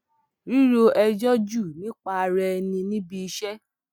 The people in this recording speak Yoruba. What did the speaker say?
ríro ẹjọ jù nípa ara ẹni níbi iṣẹ